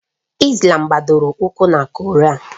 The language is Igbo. Islàm gbadoro ụkwụ na koraan